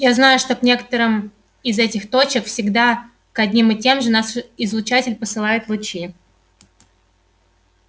я знаю что к некоторым из этих точек всегда к одним и тем же наш излучатель посылает лучи